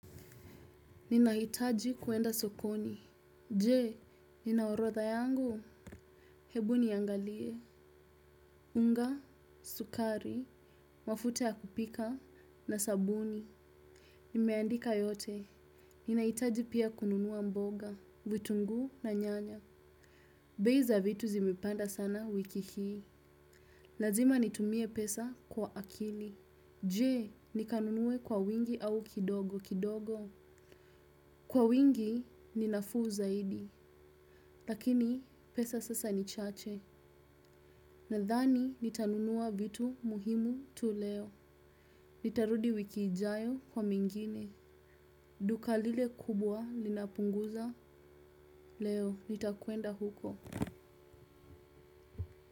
Ninahitaji kwenda sokoni. Jee, ninaorodha yangu. Hebu niiangalie. Unga, sukari, mafuta ya kupika, na sabuni. Nimeandika yote. Ninahitaji pia kununua mboga, vitunguu na nyanya. Bei za vitu zimepanda sana wiki hii. Lazima nitumie pesa kwa akili. Jee, nikanunue kwa wingi au kidogo kidogo. Kwa wingi, ni nafuu zaidi. Lakini pesa sasa ni chache. Nadhani nitanunua vitu muhimu tu leo. Nitarudi wiki ijayo kwa mengine. Duka lile kubwa linapunguza leo nitakwenda huko.